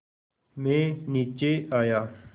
मैं नीचे आया